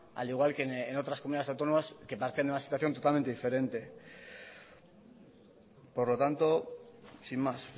al igual que en otras comunidades autónomas que parten de una situación totalmente diferente por lo tanto sin más